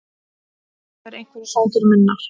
Þetta eru einhverjir svangir munnar.